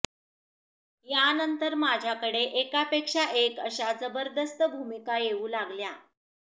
यानंतर माझ्याकडे एकापेक्षा एक अशा जबरदस्त भूमिका येऊ लागल्या